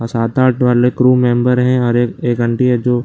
सात आठ बालक रूम मेम्बर है और एक एक आंटी है जो --